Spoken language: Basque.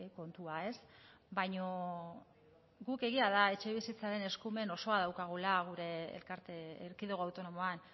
kontua ez baina guk egia da etxebizitzaren eskumen osoa daukagula gure elkarte erkidego autonomoan